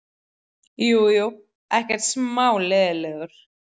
Jú, jú, ekkert smá leiðinlegur.